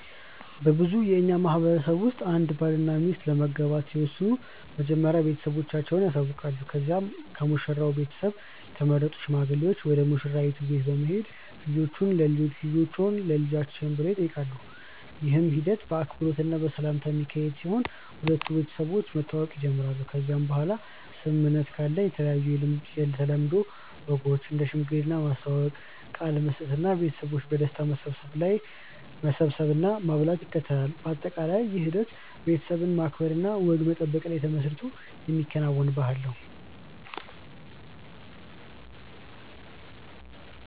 በብዙ የእኛ ማህበረሰቦች ውስጥ አንድ ባልና ሚስት ለመጋባት ሲወስኑ መጀመሪያ ቤተሰቦቻቸውን ያሳውቃሉ ከዚያ ከሙሽራው ቤተሰብ የተመረጡ ሽማግሌዎች ወደ ሙሽራይቱ ቤት በመሄድ ልጆቹን ለልጆችን ብሎ ይጠይቃሉ። ይህ ሂደት በአክብሮት እና በሰላም የሚካሄድ ሲሆን ሁለቱ ቤተሰቦች መተዋወቅ ይጀምራሉ ከዚያ በኋላ ስምምነት ካለ የተለያዩ የተለምዶ ወጎች እንደ ሽማግሌ ማስተዋወቅ፣ ቃል መስጠት እና ቤተሰቦች በደስታ መሰብሰብ እና ማብላት ይከተላል። በአጠቃላይ ይህ ሂደት ቤተሰብን ማክበር እና ወግ መጠበቅ ላይ ተመስርቶ የሚከናወን ባህልን ነው።